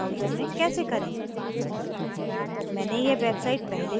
हम देखेंगे कि यह browser में कैसे करें